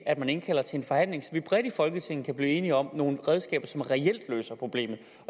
at indkalde til en forhandling så vi bredt i folketinget kan blive enige om nogle redskaber som reelt løser problemet